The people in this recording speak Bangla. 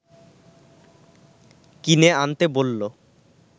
কিনে আনতে বলল